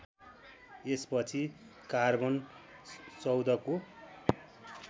यसपछि कार्बन १४ को